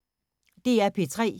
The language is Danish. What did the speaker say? DR P3